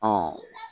Ɔ